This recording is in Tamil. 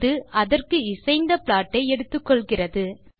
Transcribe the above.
இது அதற்கு இசைந்த ப்ளாட் ஐ எடுத்துக்கொள்கிறது